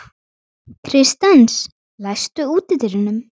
Kristens, læstu útidyrunum.